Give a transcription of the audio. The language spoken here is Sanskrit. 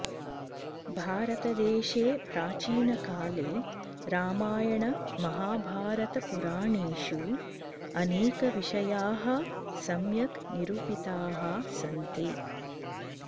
भारतदेशे प्राचीन काले रामायण महाभारतपुराणेषु अनेक विषयाः सम्यक् निरुपिताः सन्ति